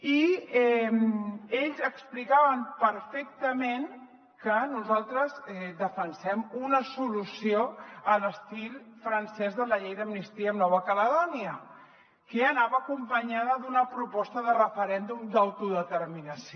i ells explicaven perfectament que nosaltres defensem una solució a l’estil francès de la llei d’amnistia a nova caledònia que anava acompanyada d’una proposta de referèndum d’autodeterminació